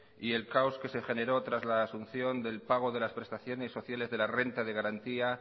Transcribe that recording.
y el caos que se generó tras la asunción del pago de las prestaciones sociales de la renta de garantía